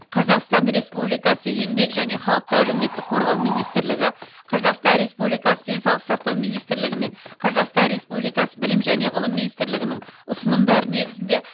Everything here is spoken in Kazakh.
қазақстан республикасы еңбек және халықты әлеуметтік қорғау министрлігі қазақстан республикасы денсаулық сақтау министрлігі мен қазақстан республикасы білім және ғылым министрлігінің ұсынымдары негізінде